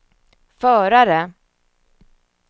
förare